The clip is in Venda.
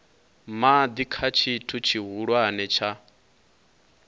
madi kha tshithu tshihulwane tsha